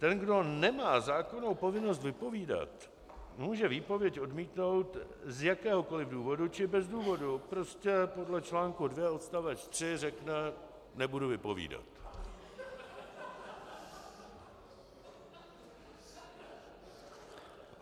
Ten, kdo nemá zákonnou povinnost vypovídat, může výpověď odmítnout z jakéhokoliv důvodu či bez důvodu, prostě podle článku 2 odstavec 3 řekne: nebudu vypovídat.